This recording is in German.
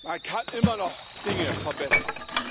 Man kann immer noch Dinge verbessern.